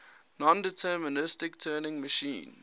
nondeterministic turing machine